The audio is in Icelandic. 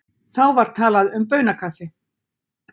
Þá var talað um baunakaffi.